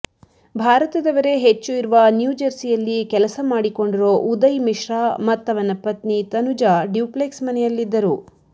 ಭಾರತದವರೇ ಹೆಚ್ಚು ಇರುವ ನ್ಯೂಜರ್ಸಿಯಲ್ಲಿ ಕೆಲಸ ಮಾಡಿಕೊಂಡಿರೋ ಉದಯ್ ಮಿಶ್ರಾ ಮತ್ತವನ ಪತ್ನಿ ತನುಜಾ ಡ್ಯೂಪ್ಲೆಕ್ಸ್ ಮನೆಯಲ್ಲಿದ್ದರು